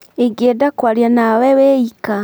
Ingĩenda kwaria na we wĩ ika.